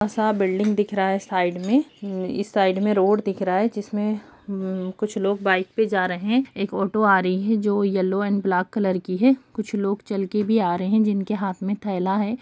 आसा बिल्डिंग दिख रहा है साइड में इस साइड में रोड दिख रहा है जिसमें कुछ लोग बाइक पर जा रहें हैं एक ऑटो आ रही है जो येलो एंड ब्लैक कलर की है कुछ लोग चलकर भी आ रहें हैं जिनके हाथ में थैला है --